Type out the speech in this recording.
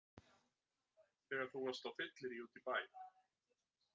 Þegar þú varst á fylliríi úti í bæ!